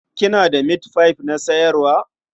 Kina da mitfai na sayarwa?